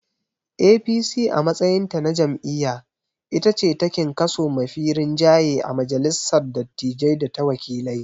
APC a matsayinta na jam'iyya itace takin kaso mafi rinjaye a majalissar dattijai data wakilai.